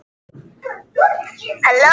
Svo fylgdi ég honum heim.